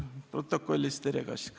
Protokollis Terle Kask.